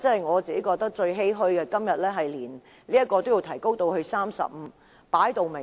我感到最欷歔的是，今天竟要把這門檻提高至35人。